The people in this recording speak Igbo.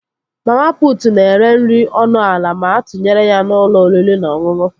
Mama putu na-ere nri ọnụ ala ma atụnyere ya na ụlọ oriri na ọṅụṅụ